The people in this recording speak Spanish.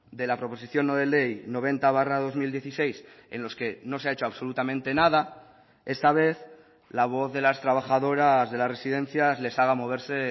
de la proposición no de ley noventa barra dos mil dieciséis en los que no se ha hecho absolutamente nada esta vez la voz de las trabajadoras de las residencias les haga moverse